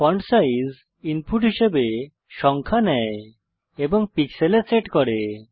font size input হিসাবে সংখ্যা নেয় এবং পিক্সেলে সেট করে